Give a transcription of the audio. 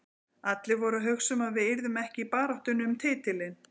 Allir voru að hugsa um að við yrðum ekki í baráttunni um titilinn.